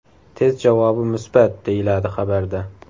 Test javobi musbat”, deyiladi xabarda.